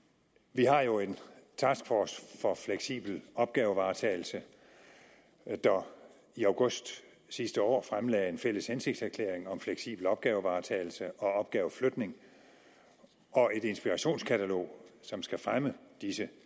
vi har jo en taskforce for fleksibel opgavevaretagelse der i august sidste år fremlagde en fælles hensigtserklæring om fleksibel opgavevaretagelse og opgaveflytning og et inspirationskatalog som skal fremme disse